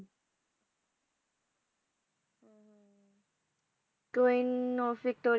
queen of ਵਿਕਟੋ